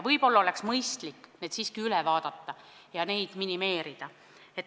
Võib-olla oleks mõistlik need siiski üle vaadata ja nende arvu minimeerida.